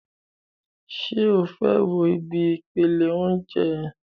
Ṣé o fẹ́ wo ibi ìpele óúnjẹ?